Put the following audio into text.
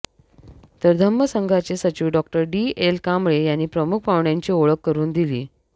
तर धम्म संघाचे सचिव डॉ डी एल कांबळे यांनी प्रमुख पाहुण्यांची ओळख करून दिली